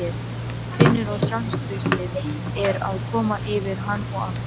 Finnur að sjálfstraustið er að koma yfir hann aftur.